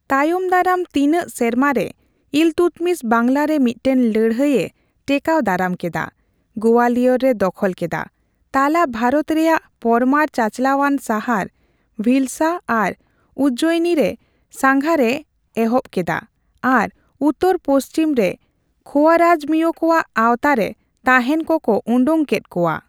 ᱛᱟᱭᱚᱢ ᱫᱟᱨᱟᱢ ᱛᱤᱱᱟᱹᱜ ᱥᱮᱨᱢᱟᱨᱮ ᱤᱞᱛᱩᱛᱢᱤᱥ ᱵᱟᱝᱞᱟᱨᱮ ᱢᱤᱫᱴᱟᱝ ᱞᱟᱹᱲᱦᱟᱹᱭᱮ ᱴᱮᱠᱟᱣ ᱫᱟᱨᱟᱢ ᱠᱮᱫᱟ, ᱜᱳᱣᱟᱞᱤᱭᱚᱨᱮ ᱫᱚᱠᱷᱚᱞ ᱠᱮᱫᱟ, ᱛᱟᱞᱟ ᱵᱷᱟᱨᱚᱛ ᱨᱮᱭᱟᱜ ᱯᱚᱨᱢᱟᱨ ᱪᱟᱪᱞᱟᱣᱟᱱ ᱥᱟᱦᱟᱨ ᱵᱷᱤᱞᱥᱟ ᱟᱨ ᱩᱡᱡᱚᱭᱤᱱᱤᱨᱮ ᱥᱟᱸᱜᱷᱟᱨᱮ ᱮᱦᱚᱵᱠᱮᱫᱟ ᱟᱨ ᱩᱛᱟᱹᱨᱼᱯᱚᱪᱷᱤᱢᱨᱮ ᱠᱷᱳᱭᱟᱨᱟᱡᱽᱢᱤᱭᱚ ᱠᱚᱣᱟᱜ ᱟᱣᱛᱟ ᱨᱮ ᱛᱟᱸᱦᱮᱱ ᱠᱚᱠᱚ ᱳᱰᱳᱠ ᱠᱮᱫ ᱠᱚᱣᱟ ᱾